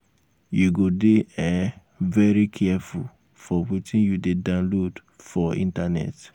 you go um dey um very careful for wetin you dey download for um internet.